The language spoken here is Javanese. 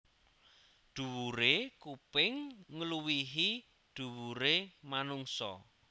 Dhuwure kuping ngluwihi dhuwure manungsa